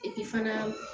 Epi fana